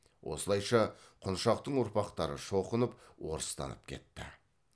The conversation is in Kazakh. осылайша құншақтың ұрпақтары шоқынып орыстанып кетті